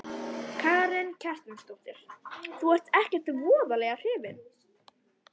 Karen Kjartansdóttir: Þú ert ekkert voðalega hrifinn?